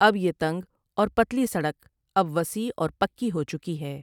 اب یہ تنگ اور پتلی سڑک اب وسیع اور پکی ہوچکی ہے ۔